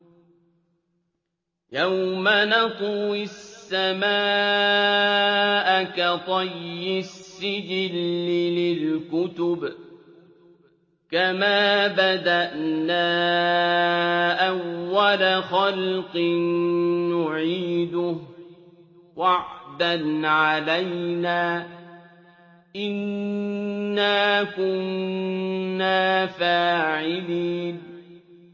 يَوْمَ نَطْوِي السَّمَاءَ كَطَيِّ السِّجِلِّ لِلْكُتُبِ ۚ كَمَا بَدَأْنَا أَوَّلَ خَلْقٍ نُّعِيدُهُ ۚ وَعْدًا عَلَيْنَا ۚ إِنَّا كُنَّا فَاعِلِينَ